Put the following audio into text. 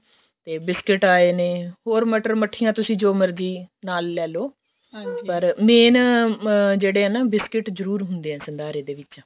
ਤੇ biscuit ਆਏ ਨੇ ਹੋਰ ਮਟਰ ਮੱਠੀਆਂ ਤੁਸੀਂ ਜੋ ਮਰਜ਼ੀ ਨਾਲ ਲੈਲੋ main ਜਿਹੜੇ ਆ ਨਾ biscuit ਜਰੁਰ ਹੁੰਦੇ ਆ ਸੰਧਾਰੇ ਦੇ ਵਿੱਚ